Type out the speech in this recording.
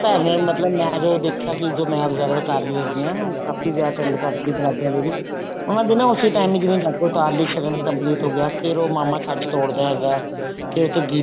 ਤਾਂ ਐਵੇਂ ਮਤਲਬ ਮੈਂ ਜਦੋ ਦੇਖਿਆ ਮਤਲਬ ਮੈਂ ਜੋ absorb ਕਰ ਰਹੀ ਹੈਗੀ ਹਾਂ ਕਾਫ਼ੀ ਵਿਆਹ attend ਕਰ ਰਹੀ ਹਾਂ ਪੰਜਾਬੀਆਂ ਦੇ ਵੀ ਉਹਨਾ ਦੇ ਨਾ ਉਸੇ time ਹੀ ਜਿਵੇ ਜਾਗੋ ਉਤਾਰਲੀ ਸ਼ਗਨ complete ਹੋ ਗਿਆ ਫੇਰ ਉਹ ਮਾਮਾ ਛੱਜ ਤੋੜਦਾ ਹੈਗਾ ਫੇਰ ਉੱਥੇ ਗੀਤ